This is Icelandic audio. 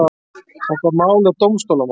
Þetta mál er dómstólamál.